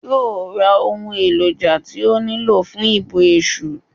Yóò ra ohun èròjà tí ó nílò fún ìbọ Èsù